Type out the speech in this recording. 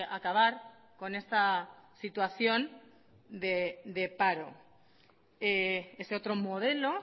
acabar con esta situación de paro ese otro modelo